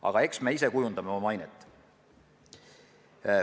Aga eks me ise kujundame oma mainet.